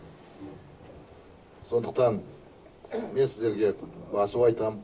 сондықтан мен сіздерге басу айтам